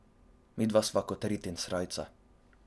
Midva sva kot rit in srajca.